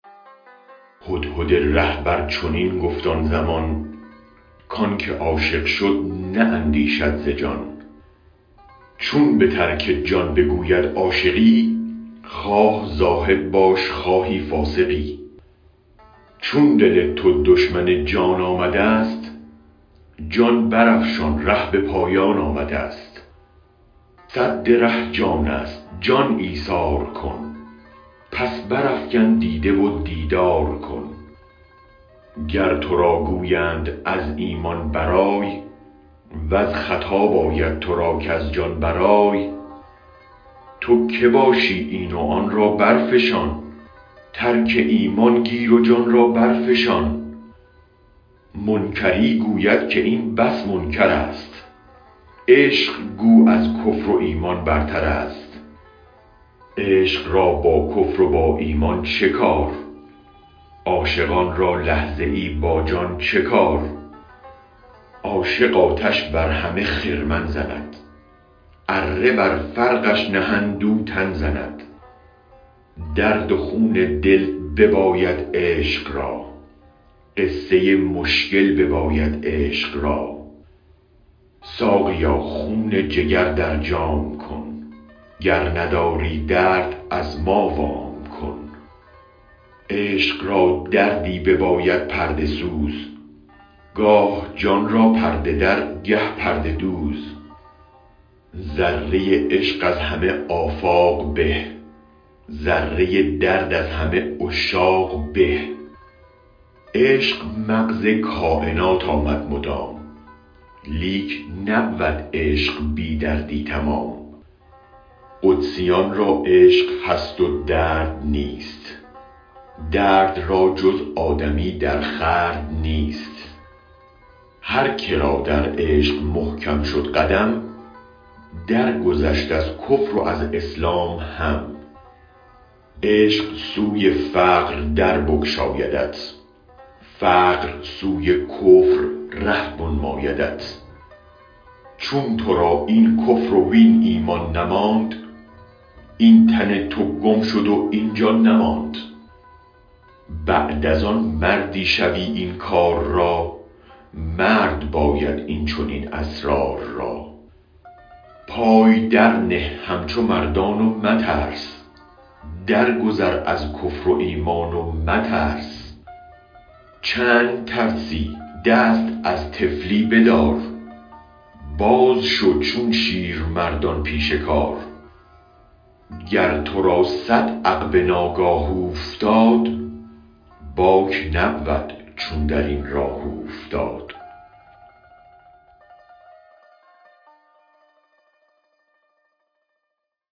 هدهد رهبر چنین گفت آن زمان کانک عاشق شد نه اندیشد ز جان چون بترک جان بگوید عاشقی خواه زاهد باش خواهی فاسقی چون دل تو دشمن جان آمدست جان برافشان ره به پایان آمدست سد ره جانست جان ایثار کن پس برافکن دیده و دیدار کن گر ترا گویند از ایمان برآی ور خطاب آید ترا کز جان برآی تو که باشی این و آن را برفشان ترک ایمان گیر و جان را برفشان منکری گوید که این بس منکرست عشق گو از کفر و ایمان برترست عشق را با کفر و با ایمان چه کار عاشقان را لحظه ای با جان چه کار عاشق آتش بر همه خرمن زند اره بر فرقش نهند او تن زند درد و خون دل بباید عشق را قصه مشکل بباید عشق را ساقیا خون جگر در جام کن گر نداری درد از ما وام کن عشق را دردی بباید پرده سوز گاه جان را پرده در گه پرده دوز ذره عشق از همه آفاق به ذره درد از همه عشاق به عشق مغز کاینات آمد مدام لیک نبود عشق بی دردی تمام قدسیان را عشق هست و درد نیست درد را جز آدمی در خورد نیست هرکه را در عشق محکم شد قدم در گذشت از کفر و از اسلام هم عشق سوی فقر در بگشایدت فقر سوی کفر ره بنمایدت چون ترا این کفر وین ایمان نماند این تن تو گم شد و این جان نماند بعد از آن مردی شوی این کار را مرد باید این چنین اسرار را پای درنه همچو مردان و مترس درگذار از کفر و ایمان و مترس چند ترسی دست از طفلی بدار بازشو چون شیرمردان پیش کار گر ترا صد عقبه ناگاه اوفتد باک نبود چون درین راه اوفتد